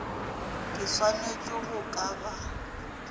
ke swanetše go ka ba